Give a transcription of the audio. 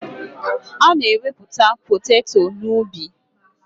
Ana ewepụta poteto na ubi.